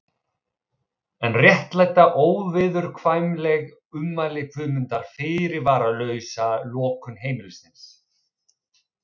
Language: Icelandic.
En réttlæta óviðurkvæmileg ummæli Guðmundar fyrirvaralausa lokun heimilisins?